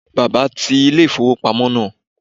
Bàbá ti ilé-ìfowópamọ́ náà